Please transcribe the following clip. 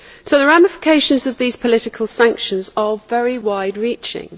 The ramifications of these political sanctions are very wide reaching.